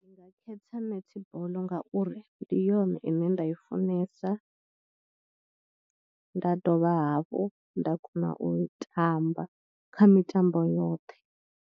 Nda khetha netball ngauri ndi yone ine nda i funesa nda dovha hafhu nda kona u i tamba kha mitambo yoṱhe.